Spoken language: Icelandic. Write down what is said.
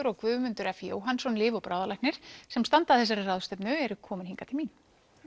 og Guðmundur f Jóhannsson lyf og sem standa að þessari ráðstefnu eru komin hingað til mín